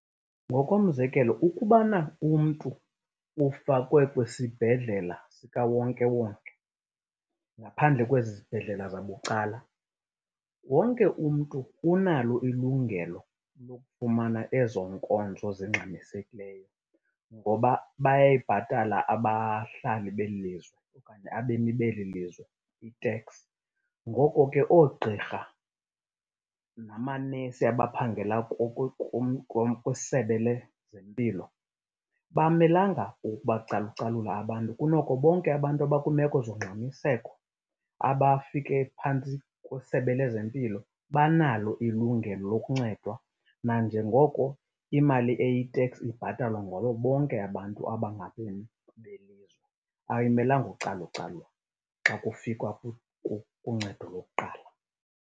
Ngokomzekelo ukubana umntu ufakwe kwisibhedlela sikawonkewonke ngaphandle kwezizibhedlela zabucala, wonke umntu unalo ilungelo lokufumana ezo nkonzo zingxamisekileyo ngoba bayayibhatala abahlali belilizwe okanye abemi belilizwe i-tax. Ngoko ke oogqirha namanesi abaphangela kwisebe lezempilo abamelanga ukubacalucalula abantu. Kunoko bonke abantu abakwiimeko zongxamiseko abafike phantsi kwesebe lezempilo banalo ilungelo lokuncedwa nanjengoko imali eyi-tax ibhatalwa ngabo bonke abantu abangabemi belilizwe. Ayimelanga ucalucalulwa xa kufikwa kuncedo lokuqala.